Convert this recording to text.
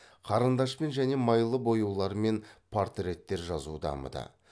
қарындашпен және майлы бояулармен портреттер жазу дамыды